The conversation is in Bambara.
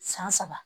San saba